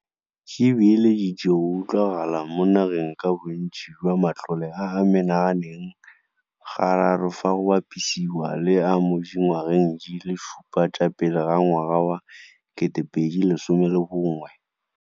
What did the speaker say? Di beeleditse go utlwagala mo nageng ka bontsi jwa matlole a a mena ganeng ga raro fa go bapisiwa le a mo dingwageng di le supa tsa pele ga ngwaga wa 2011.